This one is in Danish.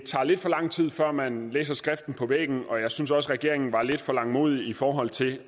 tager lidt for lang tid før man læser skriften på væggen og jeg synes også regeringen var lidt for langmodig i forhold til